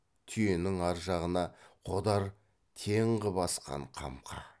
түйенің ар жағына қодар тең қып асқан қамқа